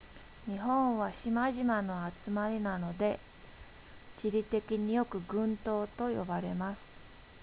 日本は島々の集まりなので地理的によく群島と呼ばれます